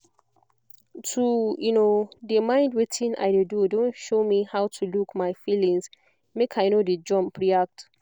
to de mind wetin i de do don show me how to look my feelings make i no de jump react